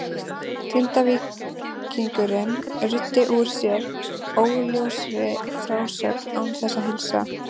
Grindvíkingurinn ruddi úr sér óljósri frásögn án þess að heilsa.